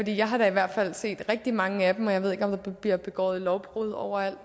jeg har da i hvert fald set rigtig mange af dem og jeg ved ikke om der bliver begået lovbrud overalt